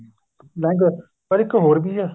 language ਪਰ ਇੱਕ ਹੋਰ ਵੀ ਏ